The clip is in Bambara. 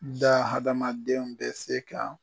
Da hadamadenw bɛ se ka